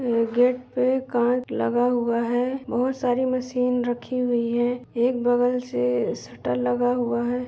Gate पे कांच लगा हुआ है। बहोत सारी मशीन रखी हुई है। एक बगल से शटर लगा हुआ है।